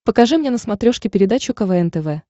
покажи мне на смотрешке передачу квн тв